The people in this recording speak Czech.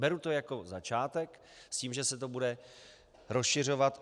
Beru to jako začátek s tím, že se to bude rozšiřovat.